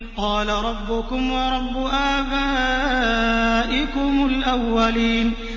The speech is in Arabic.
قَالَ رَبُّكُمْ وَرَبُّ آبَائِكُمُ الْأَوَّلِينَ